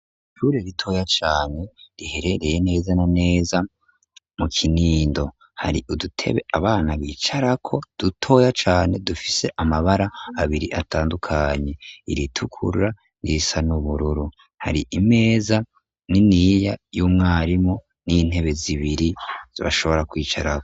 ishure ritoya cane riherereye neza na neza mu kinindo, hari udutebe abana bicarako dutoya cane dufise amabara abiri atandukanye iritukura n'irisa n'ubururu, hari imeza niniya y'umwarimu n'intebe zibiri bashobora kwicarako.